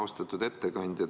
Austatud ettekandja!